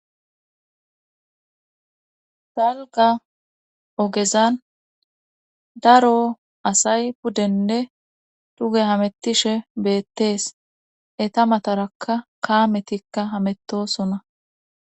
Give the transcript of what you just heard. galga ogezan daro asay puddenne tuge hamettishe beettees eta matarakka kaametikka hametosona